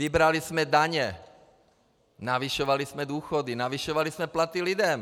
Vybrali jsme daně, navyšovali jsme důchody, navyšovali jsme platy lidem.